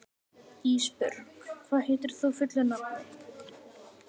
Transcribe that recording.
Ísbjörg, hvað heitir þú fullu nafni?